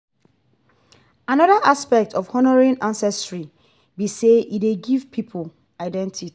anoda aspect of honouring ancestry be sey e dey give pipo identity